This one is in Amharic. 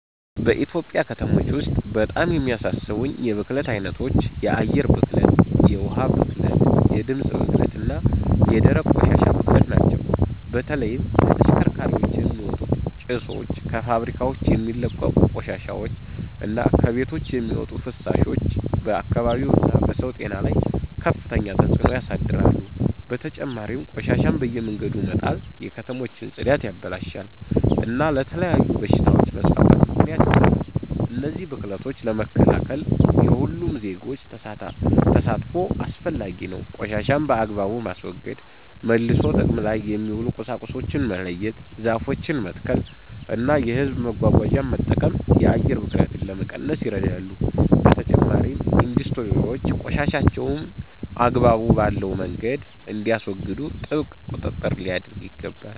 በኢትዮጵያ ከተሞች ውስጥ በጣም የሚያሳስቡኝ የብክለት ዓይነቶች የአየር ብክለት፣ የውኃ ብክለት፣ የድምፅ ብክለት እና የደረቅ ቆሻሻ ብክለት ናቸው። በተለይም ከተሽከርካሪዎች የሚወጡ ጭሶች፣ ከፋብሪካዎች የሚለቀቁ ቆሻሻዎች እና ከቤቶች የሚወጡ ፍሳሾች በአካባቢው እና በሰው ጤና ላይ ከፍተኛ ተጽእኖ ያሳድራሉ። በተጨማሪም ቆሻሻን በየመንገዱ መጣል የከተሞችን ጽዳት ያበላሻል እና ለተለያዩ በሽታዎች መስፋፋት ምክንያት ይሆናል። እነዚህን ብክለቶች ለመከላከል የሁሉም ዜጎች ተሳትፎ አስፈላጊ ነው። ቆሻሻን በአግባቡ ማስወገድ፣ መልሶ ጥቅም ላይ የሚውሉ ቁሳቁሶችን መለየት፣ ዛፎችን መትከል እና የሕዝብ መጓጓዣን መጠቀም የአየር ብክለትን ለመቀነስ ይረዳሉ። በተጨማሪም ኢንዱስትሪዎች ቆሻሻቸውን አግባብ ባለው መንገድ እንዲያስወግዱ ጥብቅ ቁጥጥር ሊደረግ ይገባል።